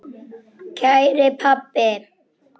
Kæri pabbi.